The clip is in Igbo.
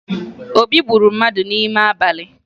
Obi gburu mmadụ n'ime abalị